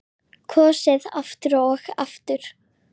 Kosið aftur og aftur?